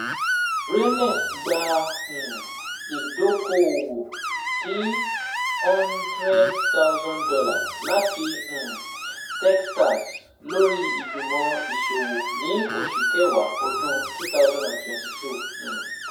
Raenest gba um idoko-owo ti $ one hundred thousand lati um Techstars lori Igbimọ Iṣowo ni Oṣu Kẹwa ọdun twenty twenty two. um